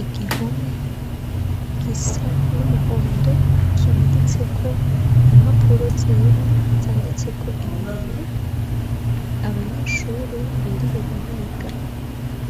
Igihome gisa n'umuhondo kimaditse ko impapuro zera zanditseko ibintu abanyeshuri biriwe bariga,